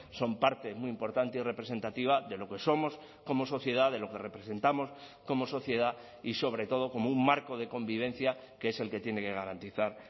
son parte muy importante y representativa de lo que somos como sociedad de lo que representamos como sociedad y sobre todo como un marco de convivencia que es el que tiene que garantizar